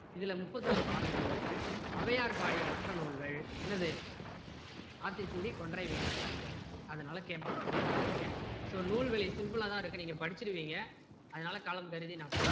இதுல முப்பத்தொரு பாடல்கள் இருக்கு ஔவையார் பாடிய மற்ற நூல்கள் என்னது ஆத்திச்சூடி கொன்றை வேந்தன் நல்வழி அதனால் கேட்பாங்க மறந்திடாதீங்க so நூல்வழி simple லா தான் இருக்கு நீங்க படிச்சிடுவீங்க அதனால காலம் கருதி நான் போறேன்.